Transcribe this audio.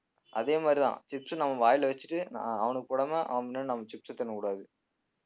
அதே மாதிரிதான் chips நம்ம வாயில வச்சிட்டு நான் அவனுக்கு போடாம அவன்முன்னாடி நாம chips ச தின்னக்கூடாது